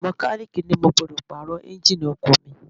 Mọkálíìkì ni mo gbọ́dọ̀ Pààrọ̀ Ẹ́ńjíìnì ọkọ̀ mi